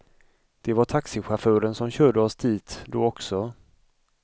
Det var taxichauffören som körde oss dit då också.